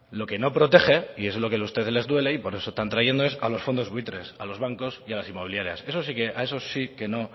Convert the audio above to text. lo que no protege y es lo que a ustedes les duele y por eso están trayendo esto es a los fondos buitres a los bancos y a las inmobiliarias a esos sí que no